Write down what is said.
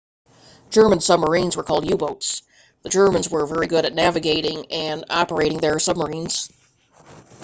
german submarines were called u-boats the germans were very good at navigating and operating their submarines